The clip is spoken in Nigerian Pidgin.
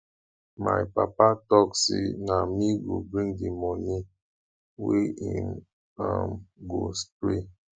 my papa tok sey na me go bring di moni wey im um go spray